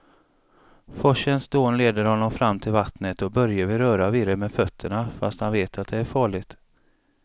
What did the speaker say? Forsens dån leder honom fram till vattnet och Börje vill röra vid det med fötterna, fast han vet att det är farligt.